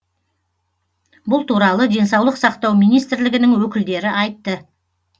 бұл туралы денсаулық сақтау министрлігінің өкілдері айтты